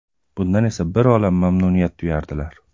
Bundan esa bir olam mamnuniyat tuyardilar.